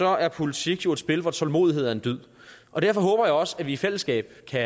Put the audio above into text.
er politik jo et spil hvor tålmodighed er en dyd og derfor håber jeg også at vi i fællesskab kan